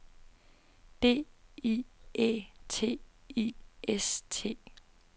D I Æ T I S T